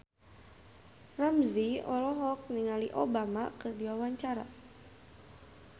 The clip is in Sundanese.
Ramzy olohok ningali Obama keur diwawancara